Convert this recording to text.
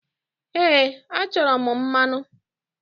Ehe, achọrọ m mmanụ.